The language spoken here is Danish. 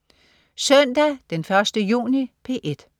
Søndag den 1. juni - P1: